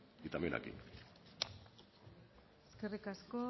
y también aquí eskerrik asko